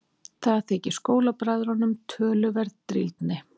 Það þykir skólabræðrunum töluverð drýldni.